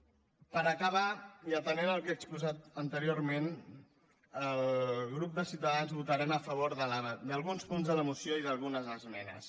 per acabar i atenent el que he exposat anteriorment el grup de ciutadans votarem a favor d’alguns punts de la moció i d’algunes esmenes